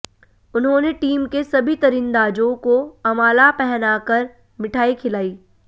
उन्होंने टीम के सभी तीरंदाजों को अमाला पहनाकर मिठाई खिलाई